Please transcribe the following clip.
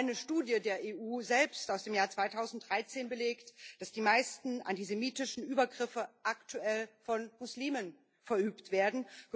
Eine Studie der EU selbst aus dem Jahr 2013 belegt, dass die meisten antisemitischen Übergriffe aktuell von Muslimen verübt werden